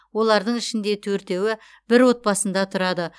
олардың ішінде төртеуі бір отбасында тұрады